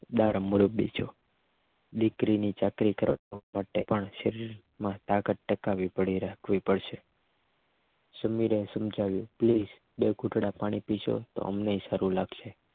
બા અમૃત બીજો દીકરીની ચાકરી કરવા માટે પણ શરીર માં તાકાત ટકાવી પડાવી રાખવી પડશે સુમીર સમજાવવું કે પ્લીઝ બે ઘૂંટડા પાણી પીશો તો તમને પણ સારું લાગશે